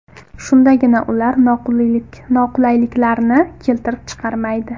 Shundagina ular noqulayliklarni keltirib chiqarmaydi.